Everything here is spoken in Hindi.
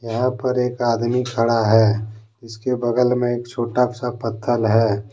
यहां पर एक आदमी खड़ा है जिसके बगल में एक छोटा सा पत्थर है।